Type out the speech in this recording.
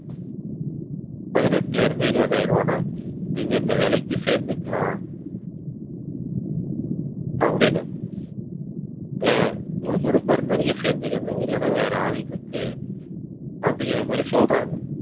பதினெட்டுல இருந்து இருபதாயிரம் ரூபாய்ன்னா நீங்க, இந்த வேலைக்கு சேர்ந்துக்கலாம் அப்படின்னு ஆஹ் உங்களுக்கு விருப்பம் இருந்தா நீங்க சேர்ந்துக்கங்க. இல்லைன்னா வேற ஆள் இருக்கு. அப்படிங்கிற மாதிரி சொல்றாங்க